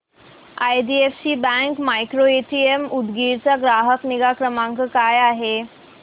IDFC bank micro ATM Udgir चा ग्राहक निगा क्रमांक काय आहे सांगा